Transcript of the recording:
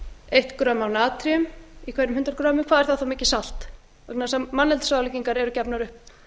eitt fram af natríum af hverjum hundrað greinar hvað er það þá mikið salt vegna þess að manneldisráðleggingar eru gefnar upp